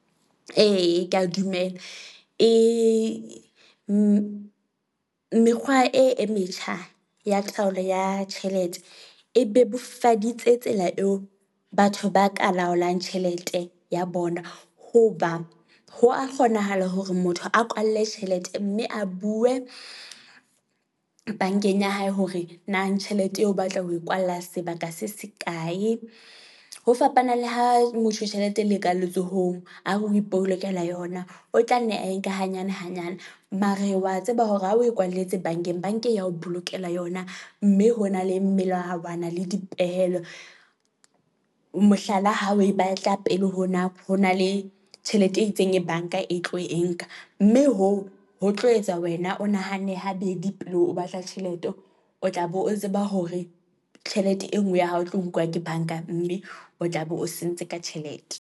E, ke a dumela e mekgwa e e metjha ya taolo ya tjhelete e bebofaditse tsela eo batho ba ka laolang tjhelete ya bona. Hoba ho a kgonahala hore motho a kwalle tjhelete mme a bue bank-eng ya hae hore nang tjhelete eo o batla ho e kwalla sebaka se se kae. Ho fapana le ha motho tjhelete le ka letsohong a re o ipolokela yona. O tla nne a e nke hanyane hanyane mare wa tseba hore ha o e kwalletse bank-eng, bank-e ya ho bolokela yona. Mme ho na le melahawana le dipehelo. Mohlala, ha o e batla pele ho nako ho na le tjhelete e itseng e bank-a e tlo e nka. Mme hoo ho tlo etsa wena o nahane ha bedi pele o batla tjhelete. O tla be o tseba hore tjhelete e nngwe ya hao e tlo nkuwa ke bank-a mme o tla be o sentse ka tjhelete.